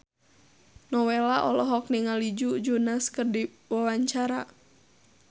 Nowela olohok ningali Joe Jonas keur diwawancara